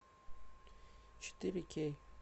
четыре кей